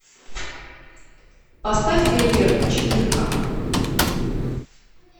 поставь фейерверк четырка